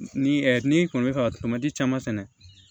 Ni n'i kɔni bɛ fɛ ka tomati caman sɛnɛ